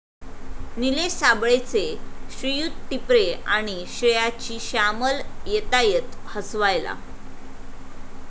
निलेश साबळेचे 'श्रीयुत टिपरे' आणि श्रेयाची 'श्यामल' येतायत हसवायला